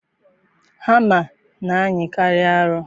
Hama na-anyịkarị arọ.